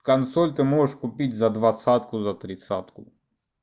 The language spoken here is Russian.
консоль ты можешь купить за двадцатку за тридцатку